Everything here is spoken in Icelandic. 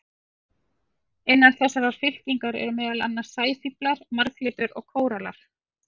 Innan þessarar fylkingar eru meðal annars sæfíflar, marglyttur og kórallar.